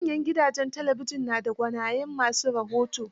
Manyan gudajen talabijin na da gwanayen ma su rahoto.